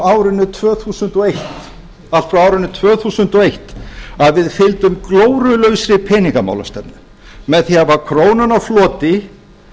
árinu tvö þúsund og eitt að við fylgdum glórulausri peningamálastefnu með því að hafa krónuna á floti